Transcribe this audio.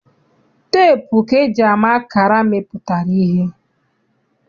Teepu ka eji ama akara mmepụtara ihe.